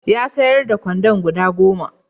Ya sayar da gwanda guda goma.